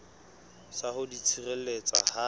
sa ho di tshireletsa ha